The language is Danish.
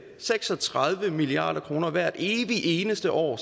seks og tredive milliard kroner bliver hvert evig eneste år